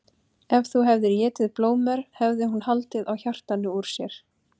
Ef þú hefðir étið blóðmör hefði hún haldið á hjartanu úr sér.